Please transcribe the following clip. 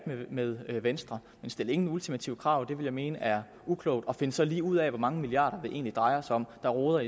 med venstre men stil ingen ultimative krav det vil jeg mene er uklogt og find så lige ud af hvor mange milliarder det egentlig drejer sig om man roder